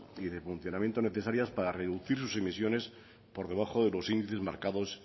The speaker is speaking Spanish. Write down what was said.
y de funcionamiento necesarias para reducir sus emisiones por debajo de los índices marcados